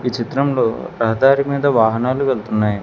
చిత్రంలో రహదారి మీద వాహనాలు వెళుతున్నాయ్.